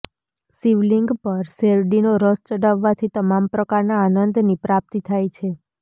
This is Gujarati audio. શિવલિંગ પર શેરડીનો રસ ચડાવવાથી તમામ પ્રકારના આનંદની પ્રાપ્તિ થાય છે